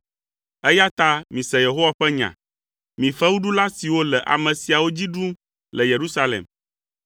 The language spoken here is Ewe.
eya ta mise Yehowa ƒe nya, mi fewuɖula siwo le ame siawo dzi ɖum le Yerusalem.